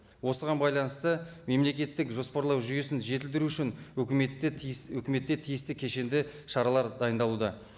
осыған байланысты мемлекеттік жоспарлау жүйесін жетілдіру үшін өкіметте тиіс өкіметте тиісті кешенді шаралар дайындалуда